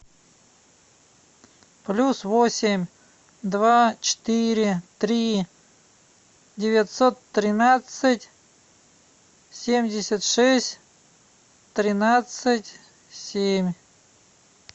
плюс восемь два четыре три девятьсот тринадцать семьдесят шесть тринадцать семь